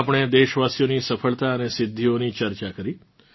આપણે દેશવાસીઓની સફળતા અને સિદ્ધીઓની ચર્ચા કરી